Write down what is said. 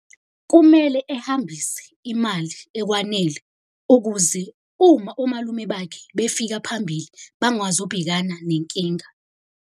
Kumele ehambise imali ekwanele, ukuze uma omalume bakhe befika phambili bangazi ukubhekana nenkinga.